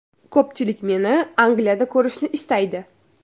Ko‘pchilik meni Angliyada ko‘rishni istaydi.